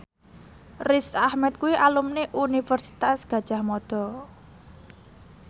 Riz Ahmed kuwi alumni Universitas Gadjah Mada